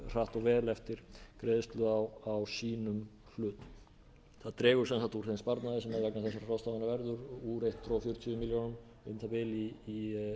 og vel eftir greiðslu á sínum hlut það dregur sem sagt úr þeim sparnaði sem vegna þessara ráðstafana verður úr hundrað fjörutíu milljónum um það bil í um sjötíu